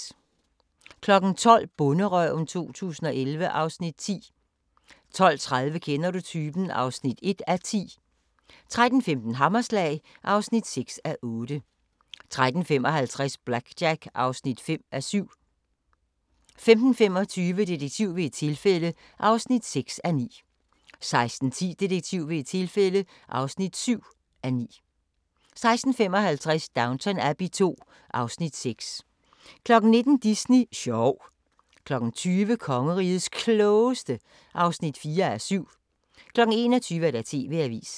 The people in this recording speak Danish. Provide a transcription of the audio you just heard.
12:00: Bonderøven 2011 (Afs. 10) 12:30: Kender du typen? (1:10) 13:15: Hammerslag (6:8) 13:55: BlackJack (5:7) 15:25: Detektiv ved et tilfælde (6:9) 16:10: Detektiv ved et tilfælde (7:9) 16:55: Downton Abbey II (Afs. 6) 19:00: Disney sjov 20:00: Kongerigets Klogeste (4:7) 21:00: TV-avisen